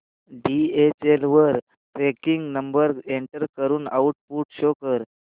DHL वर tracking number enter करून output show कर